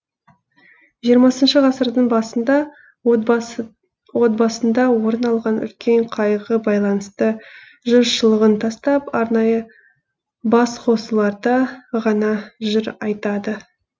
жиырмасыншы ғасырдың басында тбасында орын алған үлкен қайғыға байланысты жыршылығын тастап арнайы басқосуларда ғана жыр айтады